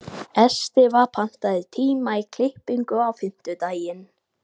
Estiva, pantaðu tíma í klippingu á fimmtudaginn.